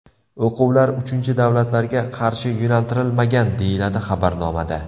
O‘quvlar uchinchi davlatlarga qarshi yo‘naltirilmagan”, deyiladi xabarnomada.